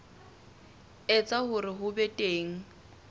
etsa hore ho be teng